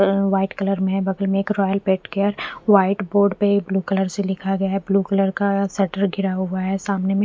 अम्म white colour में बगल में एक royal paint care white board बेग ब्लू कलर से लिखा गया है ब्लू कलर का सेटर गिरा हुआ है सामने में--